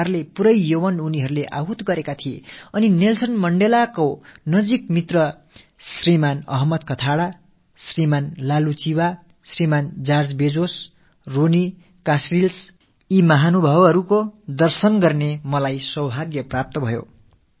ஒரு வகையில் தங்கள் ஒட்டுமொத்த இளமையையும் அவர்கள் தியாகம் செய்திருந்தார்கள் நெல்ஸன் மண்டேலாவுக்கு நெருக்கமான அஹமத் கதாடா அவர்கள் லாலூ சீபா சீபா அவர்கள் ஜார்ஜ் பெஸோஸ் அவர்கள் ரோனீ காஸ்ரில்ஸ் ஆகிய மகத்துவம் நிறைந்த மனிதர்களை தரிசிக்கும் பெரும்பேறு எனக்குக் கிடைத்தது